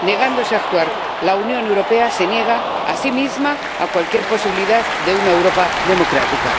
Negándose a actuar, la Unión Europea se niega a sí misma cualquier posibilidad de una Europa democrática.